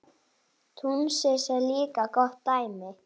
Túnis er líka gott dæmi.